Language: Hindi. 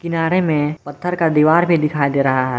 किनारे में पत्थर का दीवार भी दिखाई दे रहा है।